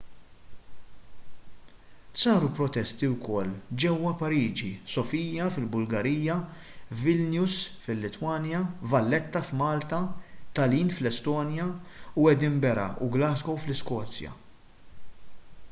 saru protesti wkoll ġewwa pariġi sofia fil-bulgarija vilnius fil-litwanja valletta f'malta tallinn fl-estonja u edinburgh u glasgow fl-iskozja